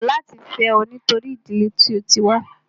Mó kọ̀ láti fẹ́ ẹ nítorí ìdílé tí o tí wá.